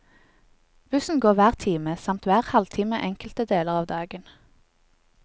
Bussen går hver time, samt hver halvtime enkelte deler av dagen.